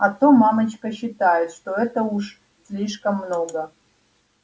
а то мамочка считает что это уже слишком много